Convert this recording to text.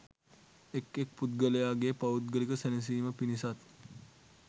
එක් එක් පුද්ගලයාගේ පෞද්ගලික සැනසීම පිණිසත්,